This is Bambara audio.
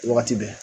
Wagati bɛɛ